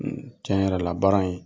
tiɲɛ yɛrɛ la baara in